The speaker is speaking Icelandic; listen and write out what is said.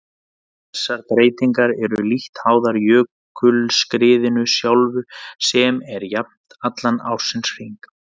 Þessar breytingar eru lítt háðar jökulskriðinu sjálfu sem er jafnt allan ársins hring.